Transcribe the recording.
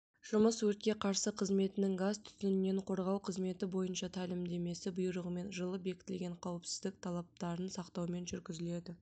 жұмыс өртке қарсы қызметінің газ-түтіннен қорғау қызметі бойынша тәлімдемесі бұйрығымен жылы бекітілген қауіпсіздік талаптарын сақтаумен жүргізіледі